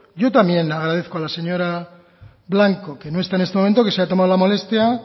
yo también le agradezco a la señora blanco que no está en este momento que se ha tomado la molestia